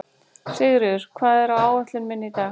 Sigríður, hvað er á áætluninni minni í dag?